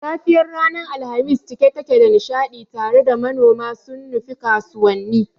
safiyar ranar Alhamis cike take da nishadi tare da manoma sun nufi kasuwanni.